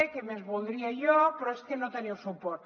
què més voldria jo però és que no teniu suport